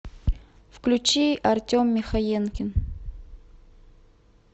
включи артем михаенкин